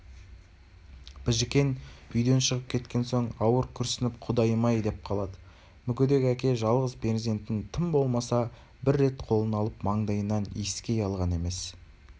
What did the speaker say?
біжікен үйден шығып кеткен соң ауыр күрсініпо құдайым-ай деп қалады мүгедек әке жалғыз перзентін тым болмаса бір рет қолына алып маңдайынан иіскей алған емес